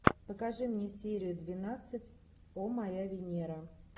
покажи мне серию двенадцать о моя венера